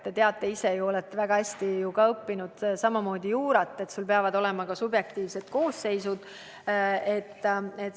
Te teate ise väga hästi – olete samuti juurat õppinud –, et täidetud peab olema ka subjektiivne koosseis.